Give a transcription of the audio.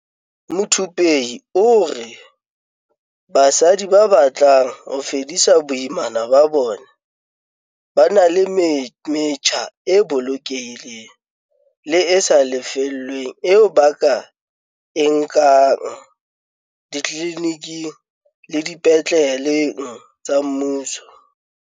Muthupei o re basadi ba batlang ho fedisa boimana ba bona ba na le metjha e bolokehileng le e sa lefellweng eo ba ka e nkang ditliliniking le dipetleleng tsa mmuso.